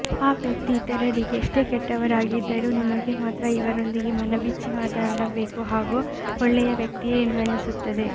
ಆ ವ್ಯಕ್ತಿ ಇತರರಿಗೆ ಎಷ್ಟೇ ಕೆಟ್ಟವರಾಗಿದ್ದರೂ ನಿಮಗೆ ಮಾತ್ರ ಇವರೊಂದಿಗೆ ಮನಬಿಚ್ಚಿ ಮಾತನಾಡಬೇಕು ಹಾಗೂ ಒಳ್ಳೆಯ ವ್ಯಕ್ತಿಯೇ ಎಂದು ಅನ್ನಿಸುತ್ತದೆ